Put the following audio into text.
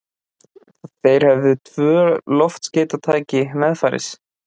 Þeir höfðu tvö loftskeytatæki meðferðis.